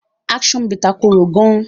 Action bitter kòrò gaan.